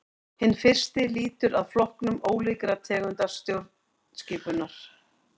Hinn fyrsti lýtur að flokkun ólíkra tegunda stjórnskipunar.